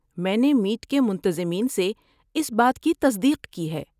میں نے میٹ کے منتظمین سے اس بات کی تصدیق کی ہے۔